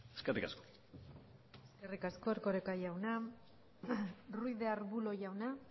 eskerrik asko eskerrik asko erkoreka jauna ruiz de arbulo jauna